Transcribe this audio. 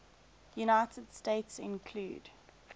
united states include